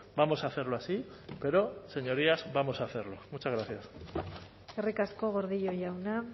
vamos a hacerlo así pero señorías vamos a hacerlo muchas gracias eskerrik asko gordillo jauna